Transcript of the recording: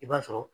I b'a sɔrɔ